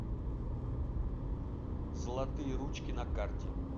золотые ручки на карте